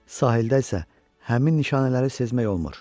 Sahildə isə həmin nişanələri sezmək olmur.